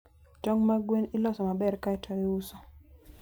Tog` mag gwen iloso maber kae to iuso.